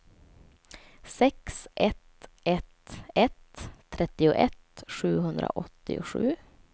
sex ett ett ett trettioett sjuhundraåttiosju